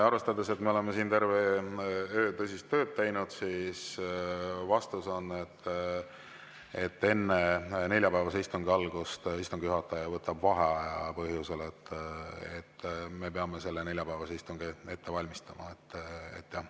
Arvestades, et me oleme siin terve öö tõsist tööd teinud, siis vastus on, et enne neljapäevase istungi algust võtab istungi juhataja vaheaja põhjusel, et me peame selle neljapäevase istungi ette valmistama.